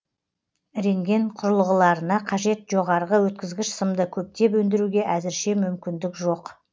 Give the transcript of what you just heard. рентген құрылғыларына қажет жоғарғы өткізгіш сымды көптеп өндіруге әзірше мүмкіндік жоқ